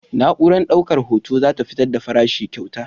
Na'urar daukar hoto za ta fitar da farashin kayan.